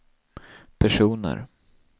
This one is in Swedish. personer